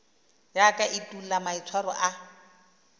ya ka etulo maitshwaro a